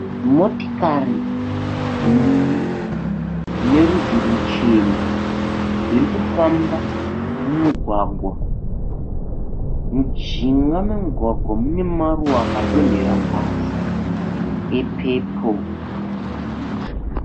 Motikari mbiri dzine rudzi ruchena dziri kufamba mumugwagwa. Mujinga memugwagwa mune maruva akadonhera pasi epepuru.